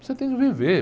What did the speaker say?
Você tem que viver.